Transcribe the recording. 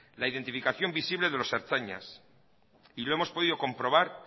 la identificación visible de los ertzainas y lo hemos podido comprobar